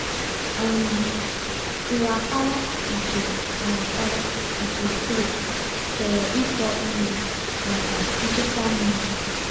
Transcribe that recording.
um nrapara nke nrapara nke clay chọrọ ịkọ ihe maka nchekwa mmiri.